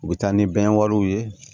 U bɛ taa ni bɛn wariw ye